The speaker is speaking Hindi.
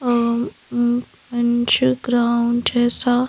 अ अंश ग्राउंड जैसा--